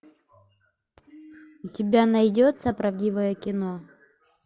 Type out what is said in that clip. у тебя найдется правдивое кино